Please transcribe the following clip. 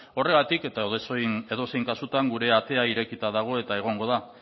horregatik eta edozein kasutan gure atea irekita dago eta egongo da